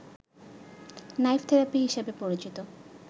knife therapy হিসেবে পরিচিত